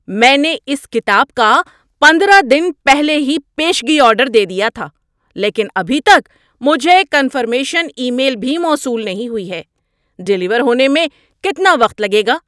میں نے اس کتاب کا پندرہ دن پہلے ہی پیشگی آرڈر دے دیا تھا لیکن ابھی تک مجھے کنفرمیشن ای میل بھی موصول نہیں ہوئی ہے۔ ڈیلیور ہونے میں کتنا وقت لگے گا؟